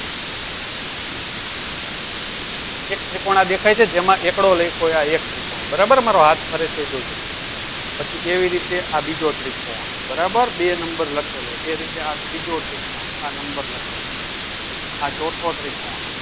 એક ત્રિકોણ આ દેખાય છે જેમાં એકડો લખ્યો આ એક ત્રિકોણ બરાબર મારો હાથ ફરે છે જોજો પછી એવીરીતે આ બીજો ત્રિકોણ બરાબર બે number લાકેલો એ રીતે આ ત્રીજો ત્રિકોણ આ number લખેલો આ ચોથો ત્રિકોણ